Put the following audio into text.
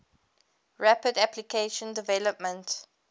rapid application development